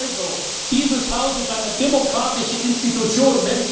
Also, dieses Haus ist eine demokratische Institution.